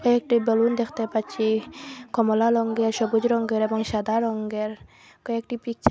কয়েকটি বেলুন দেখতে পাচ্ছি কমলা লঙ্গে সবুজ রঙ্গের এবং সাদা রঙ্গের কয়েকটি পিকচার --